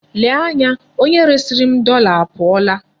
Lee anya, onye resiri m dọla apụọla.